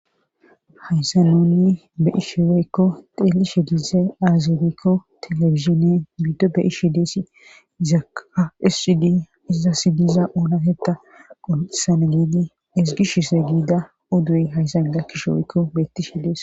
Haysa nuni bei sheweykko deelishe dize aazirikko telefizine bido bei shi deessi izaka issidi iza sidiza oona hetta qoncisana giidi esgishise giida udduwuy hayssan da kisheweykko betti shi dees.